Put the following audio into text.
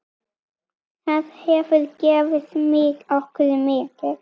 Það hefur gefið okkur mikið.